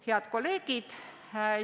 Head kolleegid!